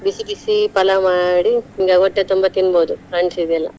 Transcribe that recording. ಬಿಸಿ ಬಿಸಿ palav ಮಾಡಿ ಹೊಟ್ಟೆ ತುಂಬಾ ತಿನ್ನ್ಬೋದು friends ಈಗೂ ಎಲ್ಲಾ.